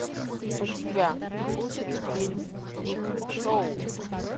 у тебя будет фильм пип шоу